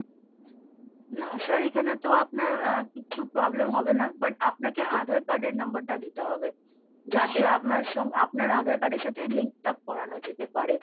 না sir এখানে তো আপনার আহ কিচ্ছু problem হবে না, but আপনাকে আধার card এর number টা দিতে হবে ing যাতে আপনার আধার card এর সাথে link up করানো যেতে পারে।